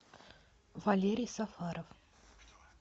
валерий сафаров